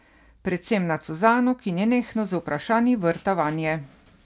Predvsem nad Suzano, ki nenehno z vprašanji vrta vanje.